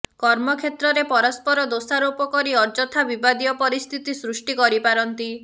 କର୍ମକ୍ଷେତ୍ରରେ ପରସ୍ପର ଦୋଷାରୋପକରି ଅଯଥା ବିବାଦୀୟ ପରିସ୍ଥିତି ସୃଷ୍ଟି କରିପାରନ୍ତି